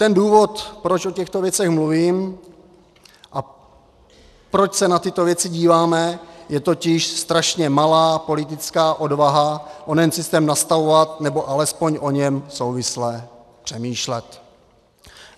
Ten důvod, proč o těchto věcech mluvím a proč se na tyto věci díváme, je totiž strašně malá politická odvaha onen systém nastavovat, nebo alespoň o něm souvisle přemýšlet.